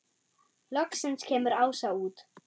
Loksins kemur Ása út.